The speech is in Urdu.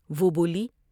وہ بولی ۔